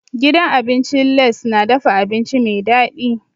Gidan abincin Lace na dafa abinci mai dadi.